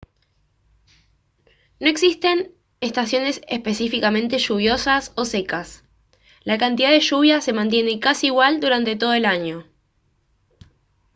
no existen estaciones específicamente «lluviosas» o «secas»; la cantidad de lluvia se mantiene casi igual durante todo el año